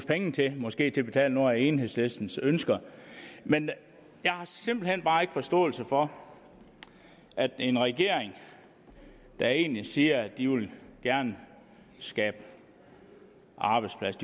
penge til måske til at betale nogle af enhedslistens ønsker men jeg har simpelt hen bare ikke forståelse for at en regering der egentlig siger at de gerne vil skabe arbejdspladser